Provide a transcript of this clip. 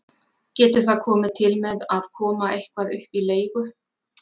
Getur það komið til með að koma eitthvað upp í leigu?